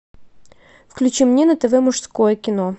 включи мне на тв мужское кино